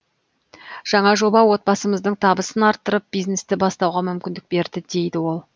жаңа жоба отбасымыздың табысын арттырып бизнесті бастауға мүмкіндік берді дейді ол